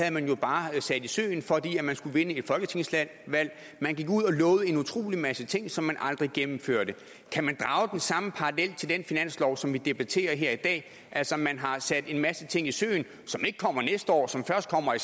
at man jo bare havde sat i søen fordi man skulle vinde et folketingsvalg man gik ud og lovede en utrolig masse ting som man aldrig gennemførte kan man drage den samme parallel til den finanslov som vi debatterer her i dag altså at man har sat en masse ting i søen som ikke kommer næste år som først kommer i